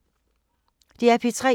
DR P3